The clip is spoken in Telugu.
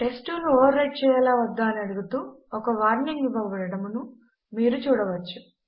టెస్ట్2 ను ఓవర్ రైట్ చెయ్యాలా వద్దా అని అడుగుతూ ఒక వార్నింగ్ ఇవ్వబడడమును మీరు చూడవచ్చు